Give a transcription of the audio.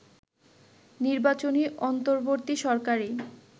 নির্বাচনী অন্তর্বর্তী সরকারেই